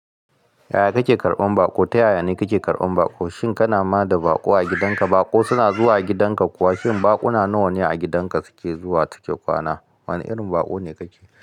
Yaya kake karɓan baƙo? Ta yayane kake karɓan baƙo? Shin kana ma da baƙo a gidanka? Baƙo suna zuwa gidan ka kuwa? Shin baƙuna nawa ne a gidanka suke zuwa suke kwana? Wane irin baƙo ne kake?